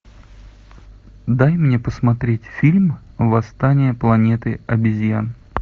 дай мне посмотреть фильм восстание планеты обезьян